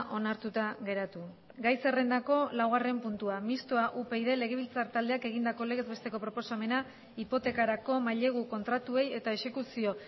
onartuta geratu gai zerrendako laugarren puntua mistoa upyd legebiltzar taldeak egindako legez besteko proposamena hipotekarako mailegu kontratuei eta exekuzio